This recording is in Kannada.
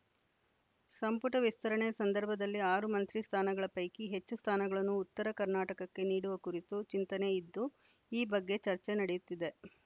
ಸಂಪುಟ ವಿಸ್ತರಣೆ ಸಂದರ್ಭದಲ್ಲಿ ಆರು ಮಂತ್ರಿ ಸ್ಥಾನಗಳ ಪೈಕಿ ಹೆಚ್ಚು ಸ್ಥಾನಗಳನ್ನು ಉತ್ತರ ಕರ್ನಾಟಕಕ್ಕೆ ನೀಡುವ ಕುರಿತು ಚಿಂತನೆ ಇದ್ದು ಈ ಬಗ್ಗೆ ಚರ್ಚೆ ನಡೆಯುತ್ತಿದೆ